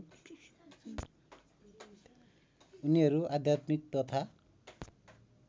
उनीहरू आध्यात्मिक तथा